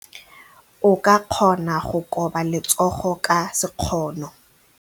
O ka kgona go koba letsogo ka sekgono.